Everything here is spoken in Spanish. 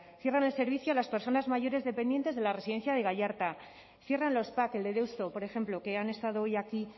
cierran el servicio a las personas mayores dependientes de la residencia de gallarta cierra los pac el de deusto por ejemplo que han estado hoy aquí